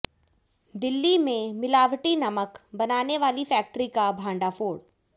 दिल्ली में मिलावटी नमक बनाने वाली फैक्ट्री का भांडाफोड़